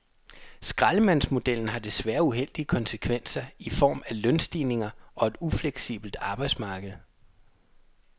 Skraldemandsmodellen har desværre uheldige konsekvenser i form af lønstigninger og et ufleksibelt arbejdsmarked.